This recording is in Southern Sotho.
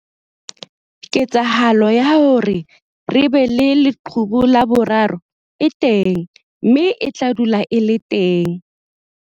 Ketsahalo ya hore re be le leqhubu la boraro e teng mme e tla dula e le teng.